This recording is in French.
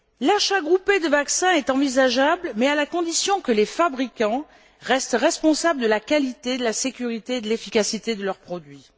L'achat groupé de vaccins est envisageable mais à la condition que les fabricants restent responsables de la qualité, de la sécurité et de l'efficacité de leurs produits.